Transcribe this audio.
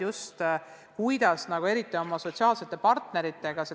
On vaja tagasisidet sotsiaalsetelt partneritelt.